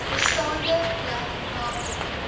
bestaande black mountain